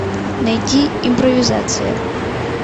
найти импровизация